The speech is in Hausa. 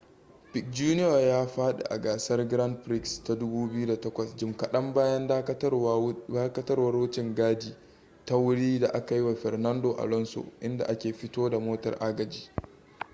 piquet jr ya fadi a gasar grand prix ta 2008 jim kadan bayan dakatawar wucin-gadi ta wuri da aka yi wa fernando alonso inda ake fito da motar agaji